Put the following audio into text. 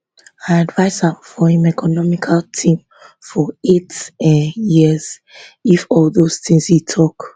i advise am for im economic team for eight um years if all those tins e tok